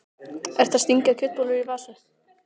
Ertu að stinga kjötbollu í vasann?